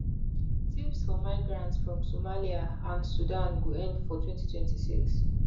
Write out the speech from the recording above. tps for migrants from somalia and sudan go end for 2026